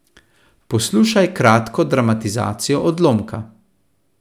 Poslušaj kratko dramatizacijo odlomka.